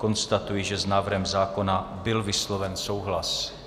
Konstatuji, že s návrhem zákona byl vysloven souhlas.